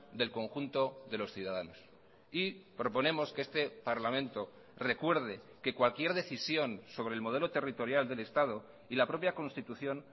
del conjunto de los ciudadanos y proponemos que este parlamento recuerde que cualquier decisión sobre el modelo territorial del estado y la propia constitución